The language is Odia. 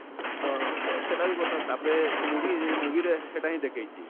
ତ ତ ସେଟା ବି ବାତ ସେ movie ରେ movie ରେ ହେଟା ହିଁ ଦେଖେଇଛେ,